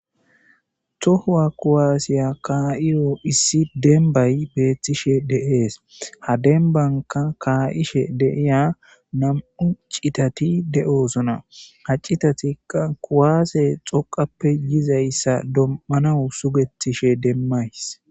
tohuwa kuwaasiya kaa7iyo issi denbay beettishe deees ha dembanka kaa7ishe deiya nam7u citati de7oosona haccitatikka kuwaase xoqappe yizayssa dommana sugetishe demmays